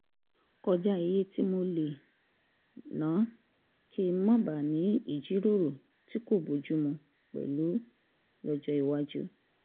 kọjá iye tí mo lè lè ná kí n má bàa ní ìjíròrò tí kò bójú mu pẹ̀lú lọ́jọ́ iwájú